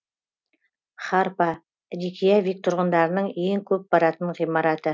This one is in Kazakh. харпа рейкьявик тұрғындарының ең көп баратын ғимараты